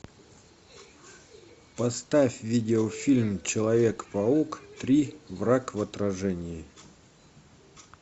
поставь видео фильм человек паук три враг в отражении